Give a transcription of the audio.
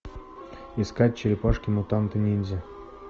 искать черепашки мутанты ниндзя